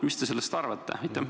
Mis te sellest arvate?